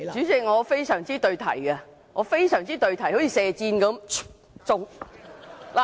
代理主席，我非常對題，一如射箭般，中！